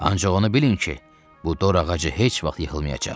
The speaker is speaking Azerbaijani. Ancaq onu bilin ki, bu dor ağacı heç vaxt yıxılmayacaq.